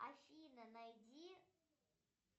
афина найди